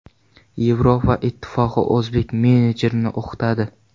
Yevropa Ittifoqi o‘zbek menejerlarini o‘qitadi.